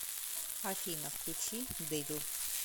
афина включи дэвил